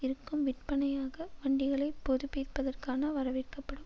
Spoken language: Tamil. இருக்கும் விற்பனையாக வண்டிகளை புதுப்பிப்பதற்கான வரவேற்கப்படும்